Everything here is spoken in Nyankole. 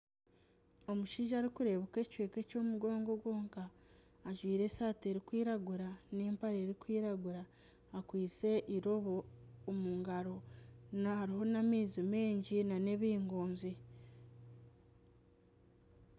Omushaija arikureebeka ekicweka eky'omugongo gwonka ajwaire esaati erikwiragura n'empare erikwiragura akwaiste eirobo omu ngaro. Hariho n'amaizi mingi n'ebingonzi.